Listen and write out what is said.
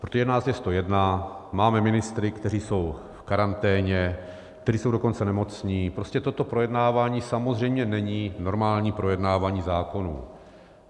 Protože nás je 101, máme ministry, kteří jsou v karanténě, kteří jsou dokonce nemocní, prostě toto projednávání samozřejmě není normální projednávání zákonů.